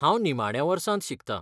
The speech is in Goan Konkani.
हांव निमाण्या वर्सांत शिकता.